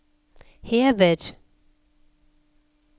hever